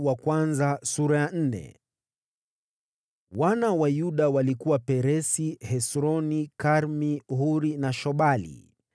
Wana wa Yuda walikuwa: Peresi, Hesroni, Karmi, Huri na Shobali.